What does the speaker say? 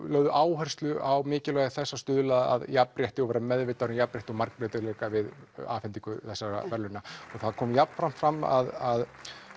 lögðu áherslu á mikilvægi þess að stuðla að jafnrétti og vera meðvitaður um jafnrétti og breytileika við afhendingu þessara verðlauna það kom jafnframt fram að